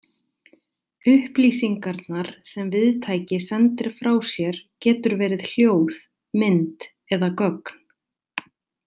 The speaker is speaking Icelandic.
Upplýsingarnar sem viðtæki sendir frá sér getur verið hljóð, mynd eða gögn.